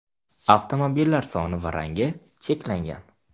Avtomobillar soni va rangi cheklangan.